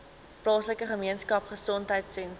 plaaslike gemeenskapgesondheid sentrum